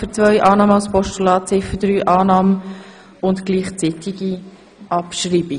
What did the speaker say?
Ziffer 1 und 2 als Postulat, Ziffer 3 als Motion bei gleichzeitiger Abschreibung?